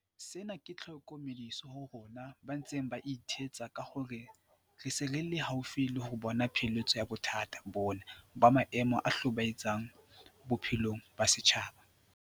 Sena ke tlhokomediso ho rona ba ntseng ba ithetsa ka hore re se re le haufi le ho bona pheletso ya bothata bona ba maemo a hlobae tsang bophelong ba setjhaba.